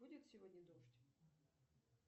будет сегодня дождь